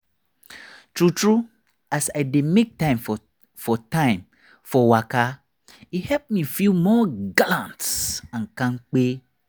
true true as i dey make time for time for waka e help me feel more gallant and kampe.